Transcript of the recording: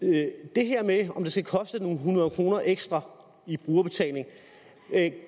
det her med om det skal koste nogle hundrede kroner ekstra i brugerbetaling